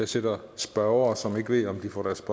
sidder spørgere som ikke ved om de får deres